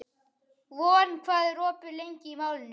Von, hvað er opið lengi í Málinu?